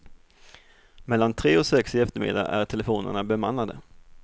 Mellan tre och sex i eftermiddag är telefonerna bemannade.